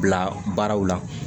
Bila baaraw la